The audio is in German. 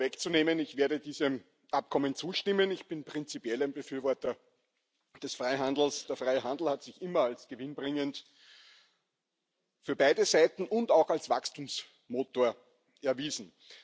Um es gleich vorwegzunehmen Ich werde diesem Abkommen zustimmen. Ich bin prinzipiell ein Befürworter des Freihandels. Der freie Handel hat sich immer als gewinnbringend für beide Seiten und auch als Wachstumsmotor erwiesen.